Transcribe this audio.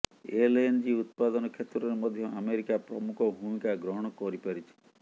LNG ଉତ୍ପାଦନ କ୍ଷେତ୍ରରେ ମଧ୍ୟ ଆମେରିକା ପ୍ରମୁଖ ଭୂମିକା ଗ୍ରହଣ କରିପାରିଛି